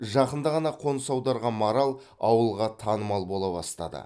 жақында ғана қоныс аударған марал ауылға танымал бола бастады